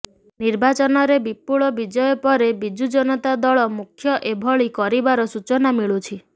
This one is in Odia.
ନିର୍ବାଚନରେ ବିପୁଳ ବିଜୟ ପରେ ବିଜୁ ଜନତା ଦଳ ମୁଖ୍ୟ ଏଭଳି କରିବାର ସୂଚନା ମିଳୁଛି